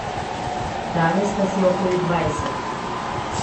Danes nas je okoli dvajset.